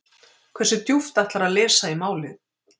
Hversu djúpt ætlarðu að lesa í málið?